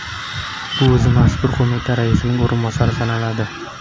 U o‘zi mazkur qo‘mita raisining o‘rinbosari sanaladi.